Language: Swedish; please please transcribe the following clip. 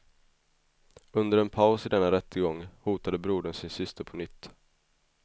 Under en paus i denna rättegång hotade brodern sin syster på nytt.